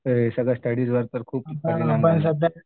सगळं स्टडीज वर तर खूप